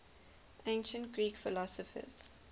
ancient greek philosophers